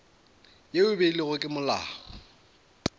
ye e beilwego ke molao